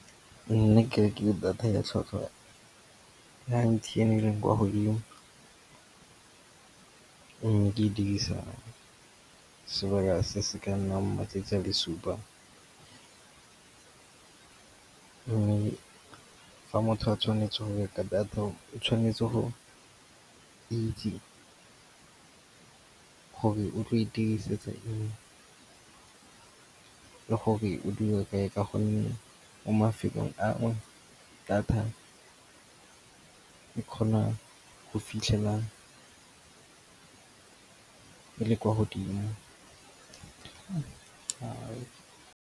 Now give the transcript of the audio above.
Nna ke rekile data ya tlhwatlhwa ya M_T_N e leng kwa godimo. Mme ke e dirisa sebaka se se ka nnang matsatsi a le supa. Mme fa motho a tshwanetse go reka data, o tshwanetse go itse gore o tlo e dirisetsa eng le gore o dul kae ka gonne mo mafelong a nngwe data e kgona go fitlhela ke le kwa godimo ga.